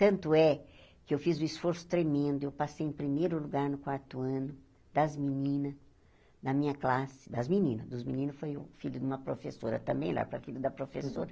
Tanto é que eu fiz um esforço tremendo, eu passei em primeiro lugar no quarto ano das meninas da minha classe, das meninas, dos meninos foi o filho de uma professora também, lá para filho da professora.